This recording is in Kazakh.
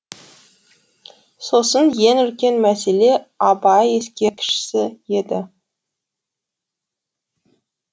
сосын ең үлкен мәселе абай ескерткіші еді